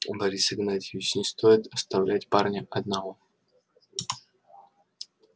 борис игнатьевич не стоит оставлять парня одного